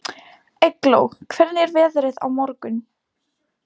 Eygló, hvernig er veðrið á morgun?